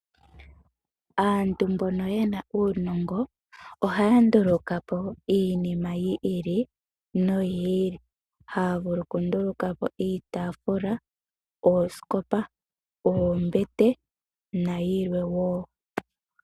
Aantu mbono yena uunongo ohaya ndulukapo iinima yi ili noyi ili . Ohaya vulu okundulukapo iitafula, oosikopa, oombete nayilwe woo.